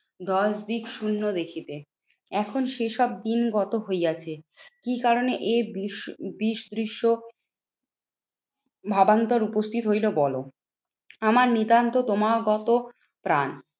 দশদিক শুন্য দেখিবে। এখন সেসব দিন গত হইয়াছে। কি কারণে এ বিষ বিষদৃশ্য ভাবান্তর উপস্থিত হইলো বলো? আমার নিতান্ত তোমার গত প্রাণ।